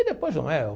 E depois, não é o?